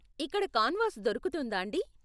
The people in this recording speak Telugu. ఇక్కడ కాన్వాస్ దొరుకుతుందాండీ?